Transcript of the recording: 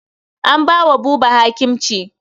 An ba wa Buba hakimci.